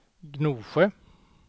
Gnosjö